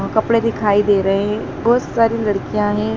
कपड़े दिखाई दे रहें हैं बहोत सारी लड़कियाँ हैं।